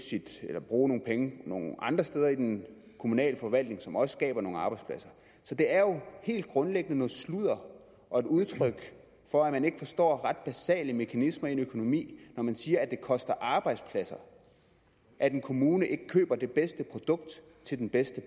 kan bruge nogle penge nogle andre steder i den kommunale forvaltning som også skaber nogle arbejdspladser så det er jo helt grundlæggende noget sludder og et udtryk for at man ikke forstår ret basale mekanismer i en økonomi når man siger at det koster arbejdspladser at en kommune ikke køber det bedste produkt til den bedste